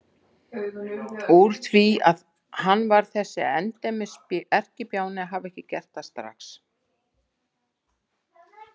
Úr því að hann var þessi endemis erkibjáni að hafa ekki gert það strax!